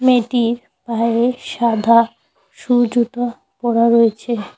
মেয়েটি পায়ে সাদা সু জুতো পরা রয়েছে।